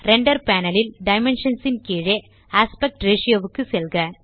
render panel ல் dimensions ன் கீழே ஆஸ்பெக்ட் ரேஷ் க்கு செல்க